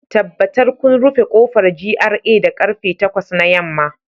Tabbatar kun rufe kofar GRA da karfe takwas na yamma